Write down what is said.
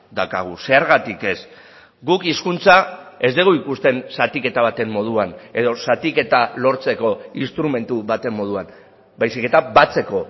daukagu zergatik ez guk hizkuntza ez dugu ikusten zatiketa baten moduan edo zatiketa lortzeko instrumentu baten moduan baizik eta batzeko